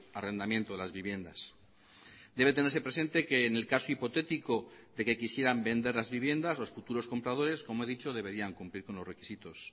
arrendamiento de las viviendas debe tenerse presente que en el caso hipotético de que quisieran vender las viviendas los futuros compradores como he dicho deberían cumplir con los requisitos